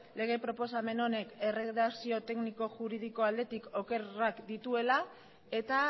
lege proposamen honek erredakzio tekniko juridiko aldetik okerrak dituela eta